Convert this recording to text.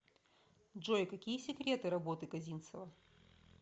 джой какие секреты работы козинцева